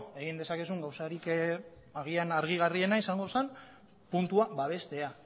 egin dezakezun gauzarik agian argigarriena izango zen puntua babestea